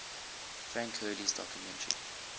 frank hurley's documentary